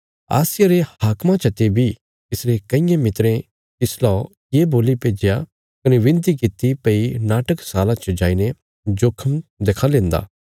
आसिया रे हाक्मा चते बी तिसरे कईयें मित्रें तिसलौ ये बोल्ली भेज्या कने विनती किति भई नाटकशाला च जाईने जोखम देखां लेन्दा